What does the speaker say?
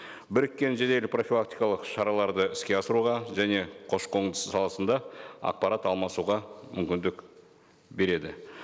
біріккен жедел профилактикалық шараларды іске асыруға және көші қон саласында ақпарат алмасуға мүмкіндік береді